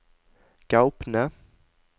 Gaupne